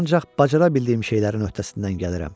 Mən ancaq bacara bildiyim şeylərin öhdəsindən gəlirəm.